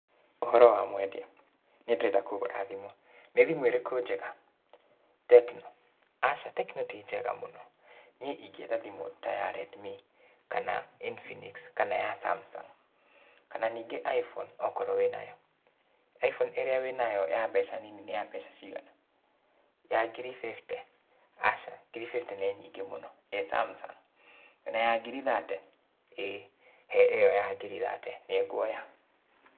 Ũhoro wa mwendia, niĩ ndĩrenda kũgũra thimũ, nĩ thimũ ĩrĩkũ njega? Tecno, aca Tecno ti njega mũno, niĩ ingĩenda thimũ ta ya Redmi, kana Infinix kana ya Samsung, kana nĩngĩ Iphone okorwo wĩ nayo. Iphone ĩrĩa wĩ nayo ya mbeca nini nĩ ya mbeca cigana? Ya ngiri fifty, aca, ngiri fifty ni nyingĩ mũno, ĩ Samsung, wĩna ya ngiri thate, ĩ he ĩyo ya ngiri thate nĩ nguoya.